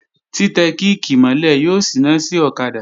Tí tẹ kíìkì mọ́ lẹ̀ yóò síná sí ọ̀kadà